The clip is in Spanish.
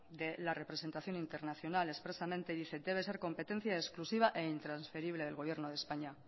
de la representación internacional expresamente dice que debe ser competencia exclusiva e intransferible del gobierno de españa